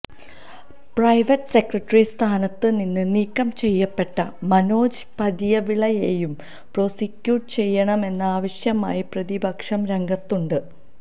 private secretary സ്ഥാനത്ത് നിന്ന് നീക്കം ചെയ്യപ്പെട്ട മനോജ് പുതിയവിളയേയും പ്രോസിക്യൂട്ട് ചെയ്യണമെന്ന ആവശ്യവുമായി പ്രതിപക്ഷം രംഗത്തുണ്ട്